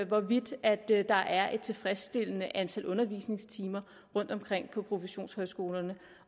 hvorvidt der er et tilfredsstillende antal undervisningstimer rundtomkring på professionshøjskolerne